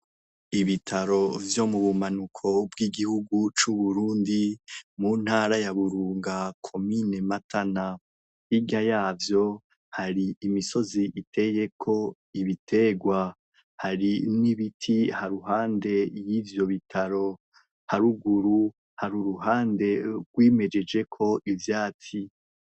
Ibitaro vyo mubumanuko bw'igihugu c'uburundi muntara ya burunga komine matana hirya yavyo, hari imisozi iteyeko ibiterwa hari n'ibiti haruhande yivyo Bitaro, haruguru hari uruhande rwimejejeko ivyatsi.